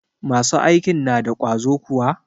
Masu aikin na da ƙwazo kuwa?